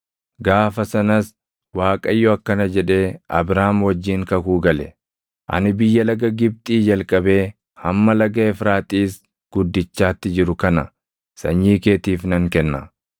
Gaafa sanas Waaqayyo akkana jedhee Abraam wajjin kakuu gale; “Ani biyya laga Gibxii jalqabee hamma laga Efraaxiis guddichaatti jiru kana sanyii keetiif nan kenna;